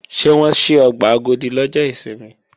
Ṣé wọ́n ṣí ọgbà Agodi lọ́jọ́ ìsinmi?